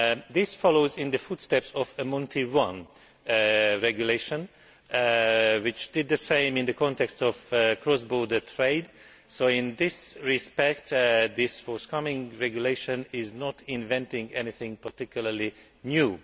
This follows in the footsteps of a Monti I Regulation, which did the same in the context of cross border trade, so in this respect this forthcoming regulation is not inventing anything particularly new.